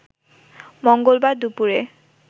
মঙ্গলবার দুপুরে